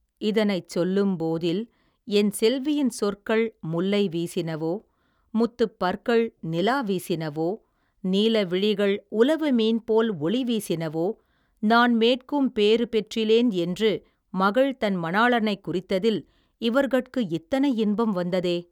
இதனைச் சொல்லும் போதில் என் செல்வியின் சொற்கள் முல்லை வீசினவோ முத்துப் பற்கள் நிலா வீசினவோ நீல விழிகள் உலவு மீன்போல் ஒளி வீசினவோ நான்மேட்கும் பேறு பெற்றிலேன் என்று மகள்தன் மணாளனைக் குறித்ததில் இவர்கட்கு இத்தனை இன்பம் வந்ததே.